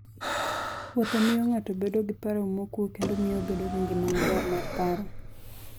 Wuotho miyo ng'ato bedo gi paro mokuwe kendo miyo obedo gi ngima maber mar paro.